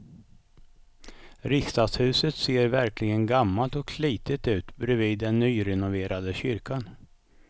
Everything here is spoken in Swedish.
Riksdagshuset ser verkligen gammalt och slitet ut bredvid den nyrenoverade kyrkan.